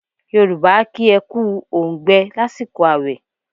Yorùbá a kí ẹ kú óǹgbẹ lásìkò àwẹ̀.